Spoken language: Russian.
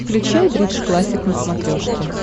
включай бридж классик на смотрешке